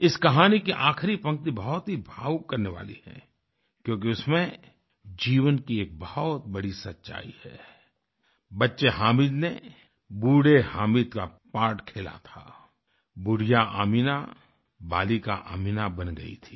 इस कहानी की आखिरी पंक्ति बहुत ही भावुक करने वाली है क्योंकि उसमें जीवन की एक बहुत बड़ी सच्चाई है बच्चे हामिद ने बूढ़े हामिद का पार्ट खेला था बुढ़िया अमीना बालिका अमीना बन गई थी